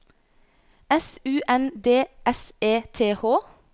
S U N D S E T H